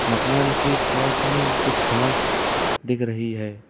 मकान के पास में कुछ खास दिख रही है।